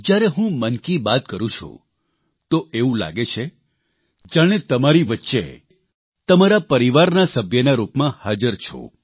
જયારે હું મન કી બાત કરૂં છું તો એવું લાગે છે જાણે તમારી વચ્ચે તમારા પરિવારના સભ્યના રૂપમાં હાજર છું